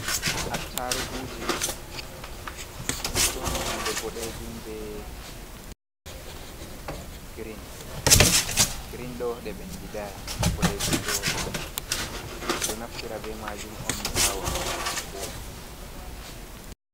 Attaruguje ɗon nonde boɗejum be grin. Grin ɗo ɗe bendidai, boɗejum ɗo bendidi. Ɓe ɗo naftira be majum on ha waɗugo hako.